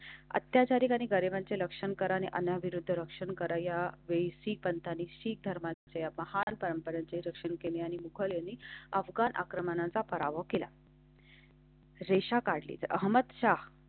अत्याचारी गाणे गाण्याचे लक्षण कराने अन्याविरुद्ध रक्षण करा. या वेळी पंत आली. शीख धर्माच्या महान परंपरेचे रक्षण केले आणि मुखर्जी यांनी अफगाण आक्रमणाचा पराभव केला. रेषा काढली अहमद शाह.